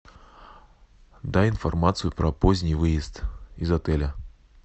дай информацию про поздний выезд из отеля